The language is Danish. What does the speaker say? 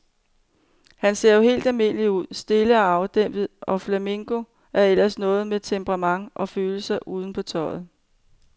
Han ser jo helt almindelig ud, stille og afdæmpet, og flamenco er ellers noget med temperament og følelserne uden på tøjet.